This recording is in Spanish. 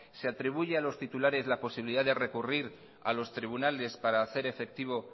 se atribuye a los titulares la posibilidad de recurrir a los tribunales para hacer efectivo